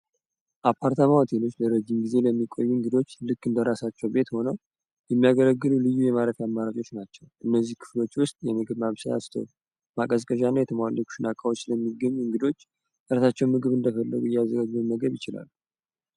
አፓርታማ ሆቴሎች ደረጅም ጊዜ ለሚቆዩ እንግዶች ልክ እንደራሳቸው ቤት ሆነው ልዩ አማራጮች ናቸው እነዚህ ክፍሎች ውስጥ የምግብ ማስታወ ቂያዎች የሚገኝ እንግዶች ምግብ እንደገለ ይችላል።